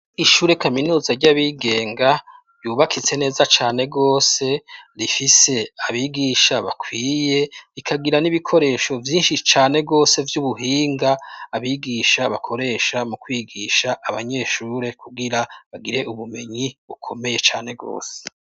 Ishure kaminuza ry'abigenga yubakitse neza cane gose rifise abigisha bakwiye rikagira n'ibikoresho vyishi cane gose vyubuhinga abigisha bakoresha mu kwigisha abanyeshure kugira bagire ubumenyi bukomeye cane gose.